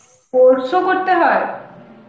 course ও করতে হয়?